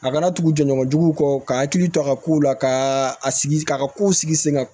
A kana tugu jɛɲɔgɔnjuguw kɔ ka hakili to a ka kow la ka a sigi ka kow sigi sen kan